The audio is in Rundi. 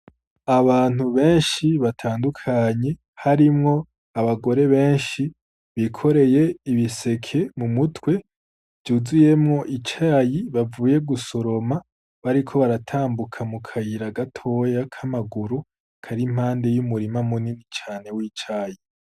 Abantu benshi batandukanye harimwo abagore benshi bikoreye ibiseke mu mutwe vyuzuyemwo icayi bavuye gusoroma bariko baratambuka mu kayira gatoya ka maguru kari impande y'umurima munini cane w'icayi.